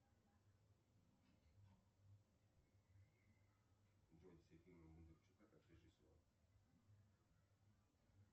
джой все фильмы бондарчука как режиссера